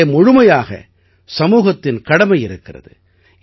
இதிலே முழுமையாக சமூகத்தின் கடமை இருக்கிறது